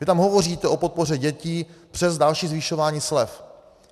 Vy tam hovoříte o podpoře dětí přes další zvyšování slev.